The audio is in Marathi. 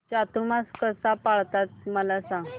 चातुर्मास कसा पाळतात मला सांग